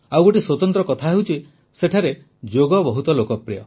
ଆଉ ଗୋଟିଏ ସ୍ୱତନ୍ତ୍ର କଥା ହେଉଛି ସେଠାରେ ଯୋଗ ବହୁତ ଲୋକପ୍ରିୟ